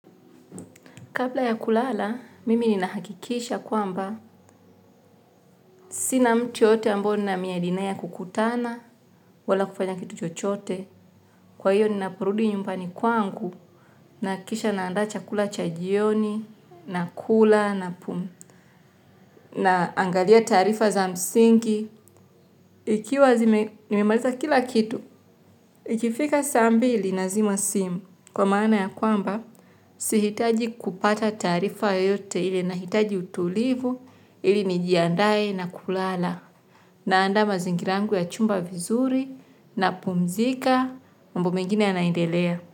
Kapla ya kulala, mimi ni nahakikisha kwamba sina mtu yoyote ambao ni na miadi naye kukutana, wala kufanya kitu chochote. Kwa hiyo ninaporudi nyumbani kwangu naakikisha naandaa chakula cha jioni na kula na pum. Naangalia taarifa za msingi, ikiwa zime, nimemaliza kila kitu. Ikifika saa mbili nazima simu kwa maana ya kwamba sihitaji kupata taarifa yoyote ila nahitaji utulivu ili nijiandaye na kulala naandaa mazingira yangu ya chumba vizuri napumzika mambo mengine yaanaendelea.